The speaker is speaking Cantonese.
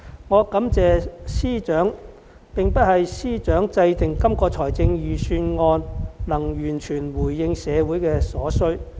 我感謝司長，並非因為司長制訂的這份預算案能完全回應社會所需。